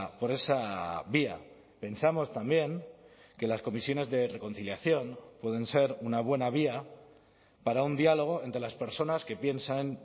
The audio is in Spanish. por esa vía pensamos también que las comisiones de reconciliación pueden ser una buena vía para un diálogo entre las personas que piensan